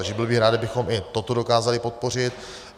Takže byl bych rád, kdybychom i toto dokázali podpořit.